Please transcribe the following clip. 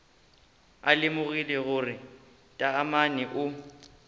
a lemogile gore taamane o